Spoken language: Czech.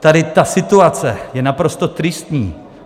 Tady ta situace je naprosto tristní.